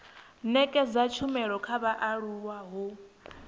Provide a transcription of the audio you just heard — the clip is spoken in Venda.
nekedza tshumelo kha vhaaluwa ho